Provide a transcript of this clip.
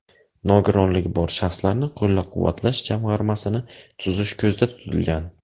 Nogironligi bor shaxslarni qo‘llab-quvvatlash jamg‘armasini tuzish ko‘zda tutilgan.